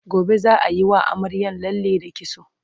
gobe zaa Yi wa amaryar lalle da kitso